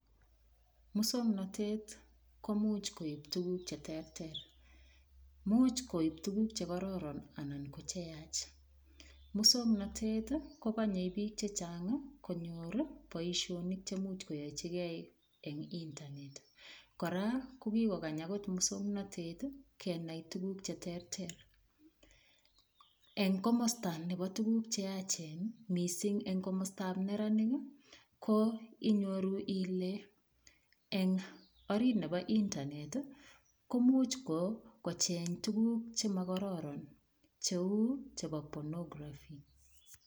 Muswong'natet komuuch koip tukuk cheterter muuch koip tukuk chekororon anan ko cheyach muswong'natet kokonyei biik chechang' konyor boishonik chemuch koyoichigei eng' internet kora kokikokany akot muswong'natet kenai tukuk cheterter eng' komosta nebo tukuk cheyachen mising' eng' komosta nebo neranik ko inyoru ile eng' orit nebo internet ko muuch kocheny tukuk chemakororon cheu chebo phonograph